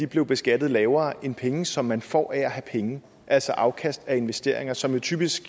blev beskattet lavere end de penge som man får af at have penge altså afkast af investeringer som jo typisk